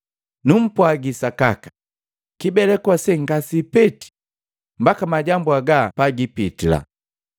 Numpwagi sakaka, kibeleku ase ngasipeti mbaka majambu haga pagipitila.